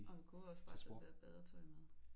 Og han kunne jo også bare tage det der badetøj med